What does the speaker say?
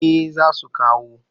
Eh za su kawo